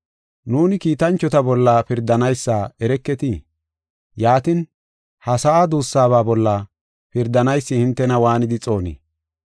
Nuuni kiitanchota bolla pirdanaysa ereketii? Yaatin, ha sa7a duussaba bolla pirdanaysi hintena waanidi xoonii?